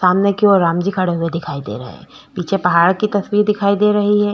सामने की ओर रामजी खड़े हुए दिखाई दे रहे है पीछे पहाड़ की तस्वीर दिखाई दे रही है।